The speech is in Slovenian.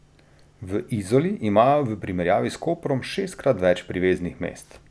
V Izoli imajo v primerjavi s Koprom šestkrat več priveznih mest.